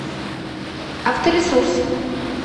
авторесурс